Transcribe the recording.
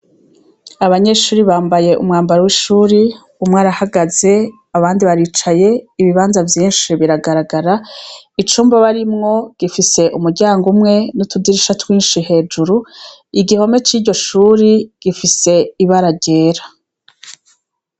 Abanyeshure bambaye umwambaro w'ishure, umwe arahagaze, abandi baricaye, ibibanza vyinshi biragaragara. Icumba barimwo gifise umuryango umwe n'utudirisha twinshi hejuru. Igihome c'iryo shure gifise ibara ryera.